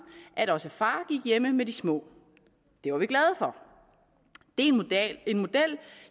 at også far gik hjemme med de små det var vi glade for det er en model